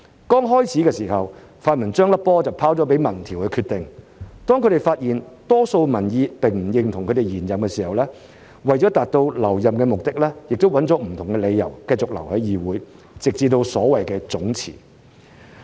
剛開始的時候，泛民將球拋由民調決定，當他們發現多數民意並不認同他們延任時，為了達到留任的目的，亦以不同的理由繼續留在議會，直至所謂總辭。